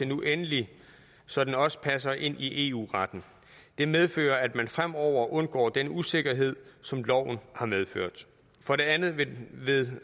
nu endelig så den også passer ind i eu retten det medfører at man fremover undgår den usikkerhed som loven har medført for det andet vil